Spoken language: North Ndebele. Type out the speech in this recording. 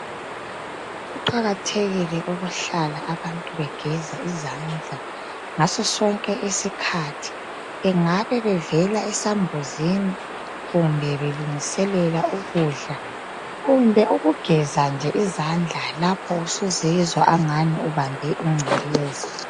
Kuqakathekile ukuhlala abantu begeza izandla ngasosonke isikhathi. Bengabe bevela esambuzini kumbe belungiselela ukudla. Kumbe ukugeza nje izandla lapho usuzizwa angani ubambe ingcekeza.